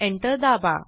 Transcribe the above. enter दाबा